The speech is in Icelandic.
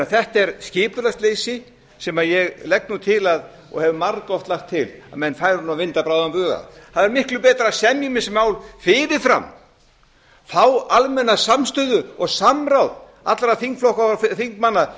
þetta er skipulagsleysi sem ég legg nú til og hef margoft lagt til að menn færu nú að vinda bráðan bug að það er miklu betra að semja um þessi mál fyrir fram fá almenna samstöðu og samráð allra þingflokka og þingmanna sérstaklega